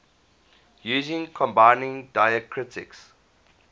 using combining diacritics